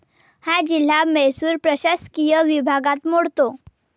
हा जिल्हा मैसूर प्रशासकीय विभागात मोडतो.